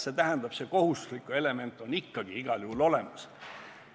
See tähendab, kohustuslik element on ikkagi igal juhul olemas.